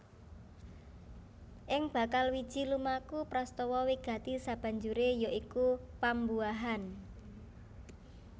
Ing bakal wiji lumaku prastawa wigati sabanjuré ya iku pambuahan